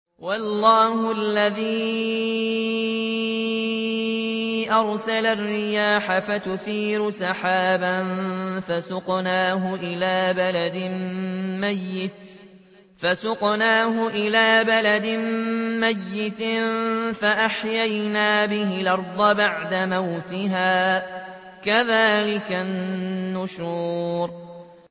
وَاللَّهُ الَّذِي أَرْسَلَ الرِّيَاحَ فَتُثِيرُ سَحَابًا فَسُقْنَاهُ إِلَىٰ بَلَدٍ مَّيِّتٍ فَأَحْيَيْنَا بِهِ الْأَرْضَ بَعْدَ مَوْتِهَا ۚ كَذَٰلِكَ النُّشُورُ